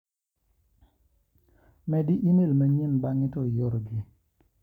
Medi ime l manyien bang'e to ior gi.